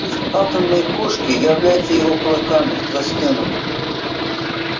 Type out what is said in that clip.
пусть атомные пушки являются его кулаками застынут